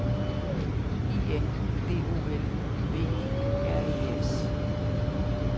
I N V O L V E R E S